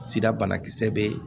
Sira banakisɛ bɛ yen